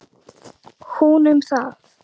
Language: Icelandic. Hún um það.